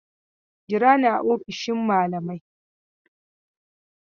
Jira ni a ofishin malamai!